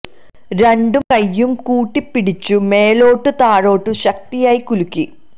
രണ്ടും കൈയും കൂട്ടി പിടിച്ചു മേലോട്ടും താഴോട്ടും ശക്തി ആയി കുലുക്കി